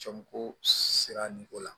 Cɛbɔ sera nin ko la